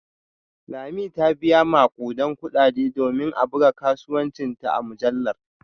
Lami ta biya makudan kudade domin a buga kasuwancinta a mujallar